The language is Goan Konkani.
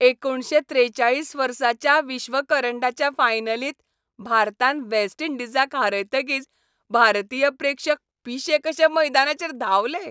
एकुणशे त्रेचाळीस वर्साच्या विश्वकरंडाच्या फायनलींत भारतान वेस्ट इंडिजाक हारयतकीच भारतीय प्रेक्षक पिशे कशे मैदानाचेर धांवले.